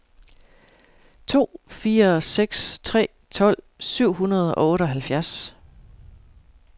to fire seks tre tolv syv hundrede og otteoghalvfjerds